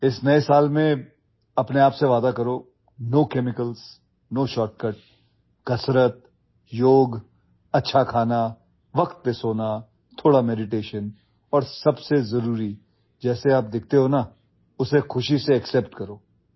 In this New Year, promise yourself... no chemicals, no shortcut exercise, yoga, good food, sleeping on time, some meditation and most importantly, happily accept the way you look